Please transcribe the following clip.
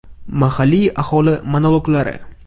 Mahalliy aholi monologlari.